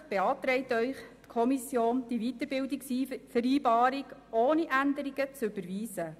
Schlussendlich beantragt Ihnen die Kommission, die Weiterbildungsvereinbarung ohne Änderungen zu überweisen.